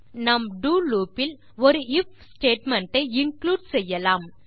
நாம் do loop இல் ஒரு ஐஎஃப் ஸ்டேட்மெண்ட் ஐ இன்க்ளூடு செய்யலாம்